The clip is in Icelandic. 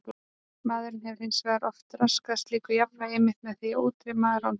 Maðurinn hefur hins vegar oft raskað slíku jafnvægi einmitt með því að útrýma rándýrunum.